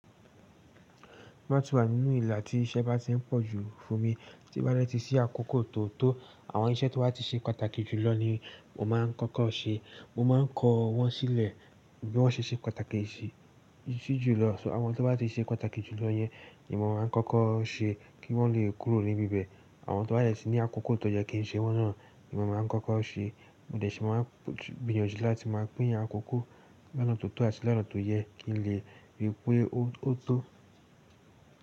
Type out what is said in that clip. Ti bà ti wa nínú ìlà tí iṣẹ́ bá ti ń pọ̀ jú fún mi tí o bá de ti sí àkókò tó tó, àwọn iṣẹ́ tó bá ti ṣe pàtàkì jùlọ ni mo máa ń kọ́kọ́ ṣe. Mo maa ń kọ wọ́n sílẹ̀ bí wọ́n ṣe ṣe pàtàkì sí jùlọ. So àwọn tó bá ti ṣe pàtàkì jùlọ yẹn, ni mo máa ń kọ́kọ́ ṣe kí wọ́n le kúrò níbi ibẹ̀. Àwọn tó bá dẹ ti ní àkókò tó yẹ kí n ṣe wọ́n náà ni mo máa ń kọ́kọ́ ṣe. Mo de sì máa ń gbìyànjú láti máa pín àkókò lọ́nà tó tọ́ àti lọ́nà tó yẹ kí lè rí pé ó tó.